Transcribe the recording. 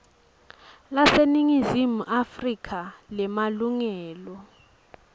laseningizimu afrika lemalungelo